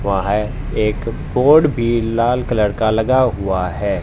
वहां एक कोड भी लाल कलर का लगा हुआ है।